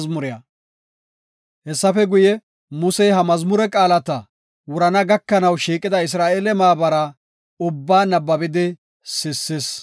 Hessafe guye, Musey ha mazmure qaalata wurana gakanaw shiiqida Isra7eele maabara ubbaa nabbabidi sissis.